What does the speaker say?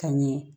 Ka ɲɛ